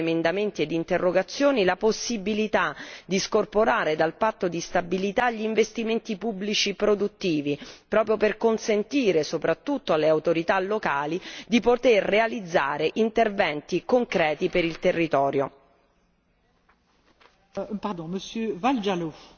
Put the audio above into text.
Occorre finalmente introdurre, come ho più volte proposto con emendamenti ed interrogazioni, la possibilità di scorporare dal patto di stabilità gli investimenti pubblici produttivi proprio per consentire, soprattutto alle autorità locali, di poter realizzare interventi concreti per il territorio.